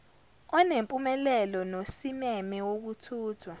onempumelelo nosimeme wokuthuthwa